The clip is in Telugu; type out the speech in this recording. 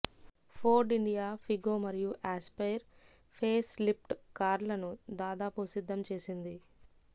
ఫోర్డ్ ఇండియా ఫిగో మరియు ఆస్పైర్ ఫేస్లిఫ్ట్ కార్లను దాదాపు సిద్దం చేసింది